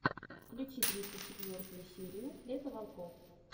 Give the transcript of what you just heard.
включи тридцать четвертую серию лето волков